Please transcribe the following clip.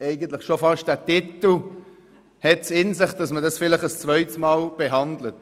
eigentlich hat es schon der Titel in sich, dass man das Geschäft ein zweites Mal behandelt.